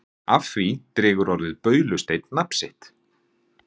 af því dregur orðið baulusteinn nafn sitt